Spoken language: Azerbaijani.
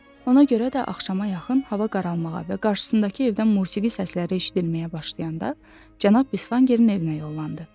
Ona görə də axşama yaxın hava qaralmağa və qarşısındakı evdən musiqi səsləri eşidilməyə başlayanda Cənab Bisvangerin evinə yollandı.